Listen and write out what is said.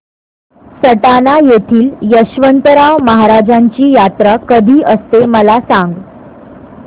सटाणा येथील यशवंतराव महाराजांची यात्रा कशी असते मला सांग